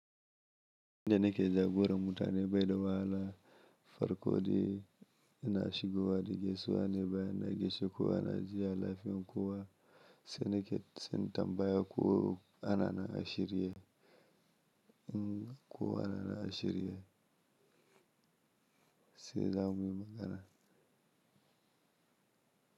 Inda ne ke jagora mutane baɗi wa hala farko de ina shigowa da gaisuwa ne bayan na gaishe kowa na ji ya lafiyan kowa sai ne ke sai na tambaya kowa na nan a shirye, in kowa na nan ashirye sai zamu yi magana.